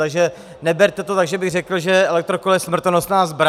Takže neberte to tak, že bych řekl, že elektrokolo je smrtonosná zbraň.